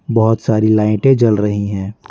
बहुत सारी लाइटें जल रही हैं।